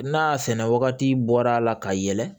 N'a sɛnɛ wagati bɔra a la ka yɛlɛ